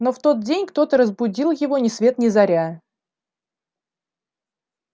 но в тот день кто-то разбудил его ни свет ни заря